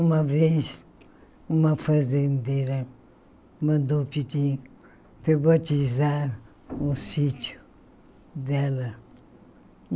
Uma vez, uma fazendeira mandou pedir para eu batizar o sítio dela.